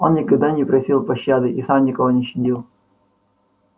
он никогда не просил пощады и сам никого не щадил